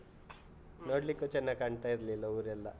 ನೋಡ್ಲಿಕ್ಕೂ ಚನ್ನಾಗ್ ಕಾಣ್ತಾ ಇರ್ಲಿಲ್ಲ, ಊರೆಲ್ಲ.